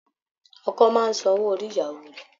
Ọkọ máa ń san owó orí ìyàwó rẹ̀